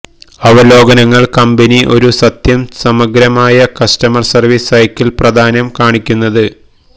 അവലോകനങ്ങൾ കമ്പനി ഒരു സത്യം സമഗ്രമായ കസ്റ്റമർ സർവീസ് സൈക്കിൾ പ്രദാനം കാണിക്കുന്നത്